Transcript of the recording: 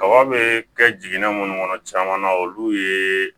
Kaba be kɛ jiginɛ munnu kɔnɔ caman na olu ye